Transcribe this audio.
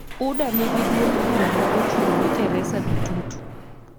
UDA nigi duond bura ma ochung'ne Teresa Bitutu,